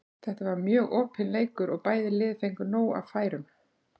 Þetta var mjög opinn leikur og bæði lið fengu nóg af færum.